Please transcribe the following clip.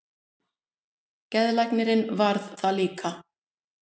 Geðlæknirinn varð það líka.